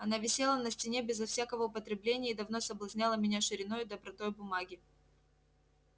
она висела на стене безо всякого употребления и давно соблазняла меня шириною и добротою бумаги